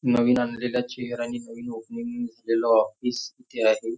नवीन आणलेल्या चेअर आणि नवीन ओपनिंग नसलेला ऑफिस इथे आहे.